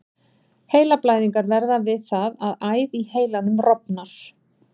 Heilablæðingar verða við það að æð í heilanum rofnar.